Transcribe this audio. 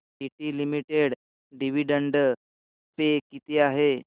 TT limited dividend pay किती आहे